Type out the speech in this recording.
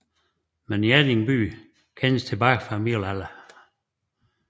Men Hjerting by kendes tilbage fra middelalderen